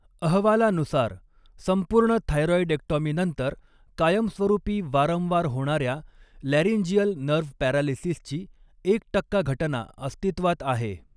अहवालानुसार, संपूर्ण थायरॉइडेक्टॉमीनंतर कायमस्वरूपी वारंवार होणार्या लॅरिंजियल नर्व्ह पॅरालिसिसची एक टक्का घटना अस्तित्वात आहे.